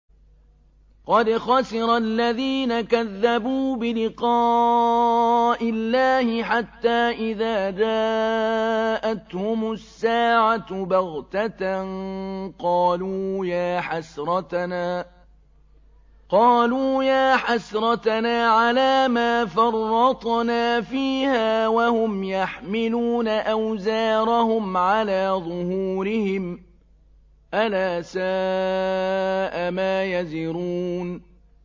قَدْ خَسِرَ الَّذِينَ كَذَّبُوا بِلِقَاءِ اللَّهِ ۖ حَتَّىٰ إِذَا جَاءَتْهُمُ السَّاعَةُ بَغْتَةً قَالُوا يَا حَسْرَتَنَا عَلَىٰ مَا فَرَّطْنَا فِيهَا وَهُمْ يَحْمِلُونَ أَوْزَارَهُمْ عَلَىٰ ظُهُورِهِمْ ۚ أَلَا سَاءَ مَا يَزِرُونَ